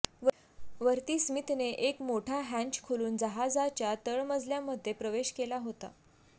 वरती स्मीथनी एक मोठा हँच खोलून जहाजाच्या तळ मजल्यामध्ये प्रवेश केला होता